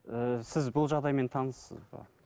ііі сіз бұл жағдаймен таныссыз ба